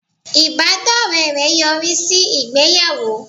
Ìbádọ́rẹ́ rẹ̀ yọrí sí ìgbéyàwó